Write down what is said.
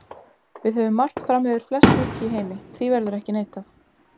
Við höfum margt fram yfir flest ríki í heimi, því verður ekki neitað.